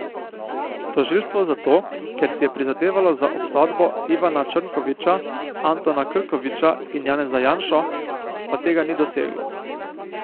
Tožilstvo zato, ker si je prizadevalo za obsodbo Ivana Črnkoviča, Antona Krkoviča in Janeza Janšo, pa tega ni doseglo.